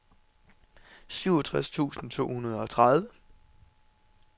syvogtres tusind to hundrede og tredive